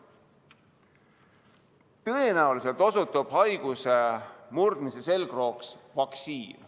Tõenäoliselt osutub haiguse murdmise selgrooks vaktsiin.